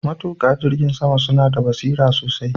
Matuka jirgin sama suna da basira sosai